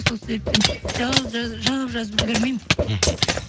сол себептен жауап жазып үлгірмеймін мхм